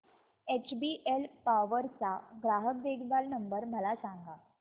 HBL power चा ग्राहक देखभाल नंबर मला सांगा